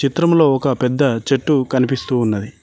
చిత్రములో ఒక పెద్ద చెట్టు కనిపిస్తూ ఉన్నది.